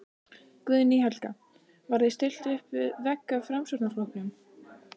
Guðný Helga: Var þér stillt uppvið vegg af Framsóknarflokknum?